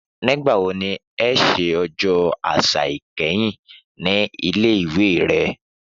Nígbà wo ni ẹ ṣe Ọjọ́ Àṣà kẹ́yìn nílé ìwé rẹ?